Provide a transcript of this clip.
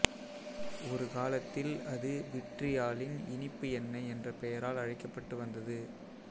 ஒரு காலத்தில் அது விட்ரியாலின் இனிப்பு எண்ணெய் என்ற பெயரால் அழைக்கப்பட்டு வந்தது